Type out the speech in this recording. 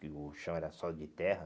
Porque o chão era só de terra.